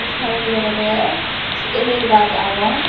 side odi olode el el gaz agon.